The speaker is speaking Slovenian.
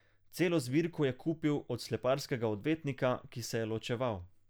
Celo zbirko je kupil od sleparskega odvetnika, ki se je ločeval.